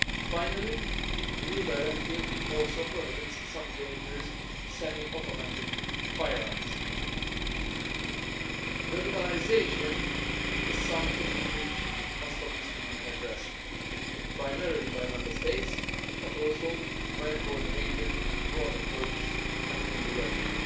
Finally, the new directive also prohibits some dangerous semi automatic firearms. Radicalisation is something that obviously must be addressed, primarily by Member States but also by a coordinated and broad approach at EU level.